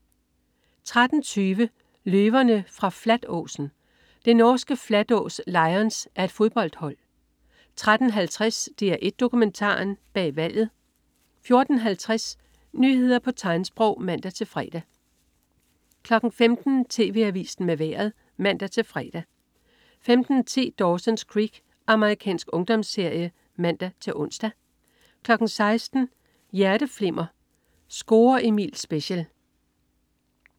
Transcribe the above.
13.20 Løverne fra Flatåsen. Det norske "Flatås Lions" er et fodboldhold 13.50 DR1 Dokumentaren: Bag valget 14.50 Nyheder på tegnsprog (man-fre) 15.00 TV Avisen med Vejret (man-fre) 15.10 Dawson's Creek. Amerikansk ungdomsserie (man-ons) 16.00 Hjerteflimmer: Score Emil special